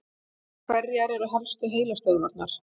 Hverjar eru helstu heilastöðvarnar?